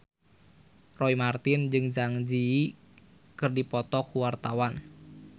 Roy Marten jeung Zang Zi Yi keur dipoto ku wartawan